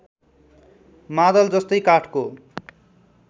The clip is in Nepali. मादल जस्तै काठको